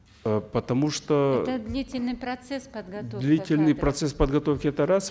э потому что это длительный процесс подготовка длительный процесс подготовки это раз